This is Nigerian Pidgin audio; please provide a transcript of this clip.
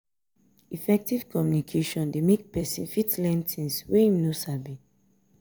effective communication de make persin fit learn things wey im no sabi